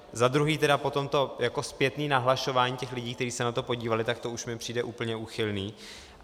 Za druhé tedy po tomto jako zpětné nahlašování těch lidí, kteří se na to podívali, tak to už mi přijde úplně úchylné.